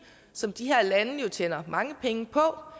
som de her lande jo tjener mange penge på